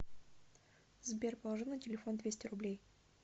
сбер положи на телефон двести рублей